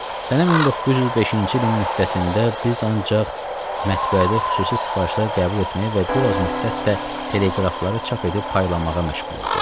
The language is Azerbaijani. Sənəm 1905-ci ilin müddətində biz ancaq mətbəədə xüsusi sifarişlər qəbul etməyə və bir az müddətdə teleqrafları çap edib paylamağa məşğul olduq.